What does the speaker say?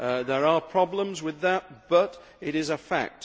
There are problems with that but it is a fact.